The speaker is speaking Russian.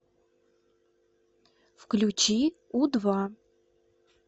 включи у два